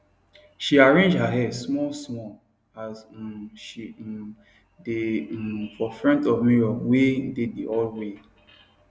she arrange her hair smallsmall as um she um dae hum for front of mirror wae dae the hallway